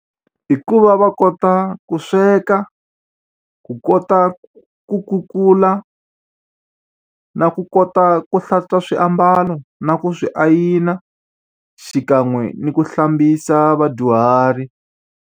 I ku va va kota ku sweka, ku kota ku kukula, na ku kota ku hlantswa swiambalo, na ku swi ayina, xikan'we ni ku hlambisa vadyuhari.